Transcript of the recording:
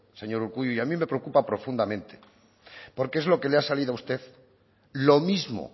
señor urkullu y a mí me preocupa profundamente porque es lo que le ha salido a usted lo mismo